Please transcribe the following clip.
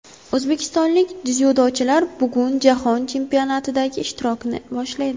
O‘zbekistonlik dzyudochilar bugun Jahon chempionatidagi ishtirokini boshlaydi.